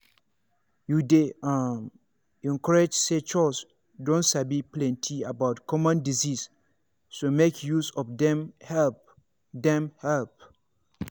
you dey um encouraged say chws don sabi plenty about common disease so make use of dem help. dem help.